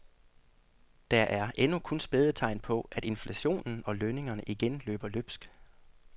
Der er endnu kun spæde tegn på, at inflationen og lønningerne igen løber løbsk.